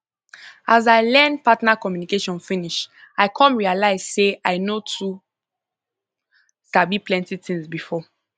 as i learn partner communication finish i come realize say i no too sabi plenty things before